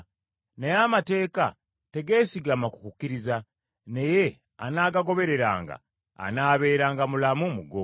naye amateeka tegeesigama ku kukkiriza, naye anaagagobereranga anaabeeranga mulamu mu go.